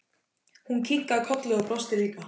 Hún kinkaði kolli og brosti líka.